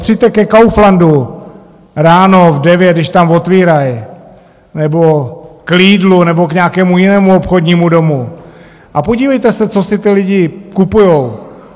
Přijďte ke Kauflandu ráno v devět, když tam otvírají, nebo k Lidlu nebo k nějakému jinému obchodnímu domu a podívejte se, co si ty lidi kupujou.